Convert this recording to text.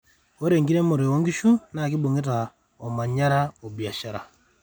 ore eramatare oo inkishu naa kibongeta omanyaa o biashara